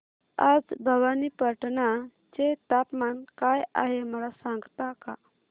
आज भवानीपटना चे तापमान काय आहे मला सांगता का